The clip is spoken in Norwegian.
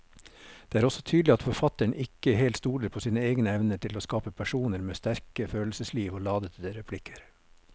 Det er også tydelig at forfatteren ikke helt stoler på sine egne evner til å skape personer med sterke følelsesliv og ladete replikker.